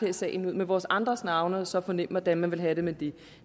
i salen ud med vores andres navne og så fornemme hvordan man ville have det med det